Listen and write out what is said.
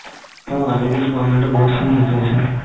অ আজিকালি government ৰ বহুত খিনি হৈছে ন